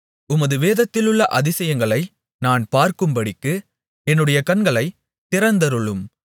உமது வேதத்திலுள்ள அதிசயங்களை நான் பார்க்கும்படிக்கு என்னுடைய கண்களைத் திறந்தருளும்